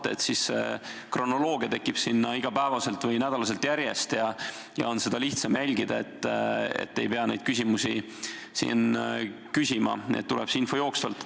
Kui teha seda nii, et sinna tekib kronoloogia, kust on iga päev või iga nädal järjest seda lihtsam jälgida, siis ei pea neid küsimusi siin küsima ja see info tuleb jooksvalt.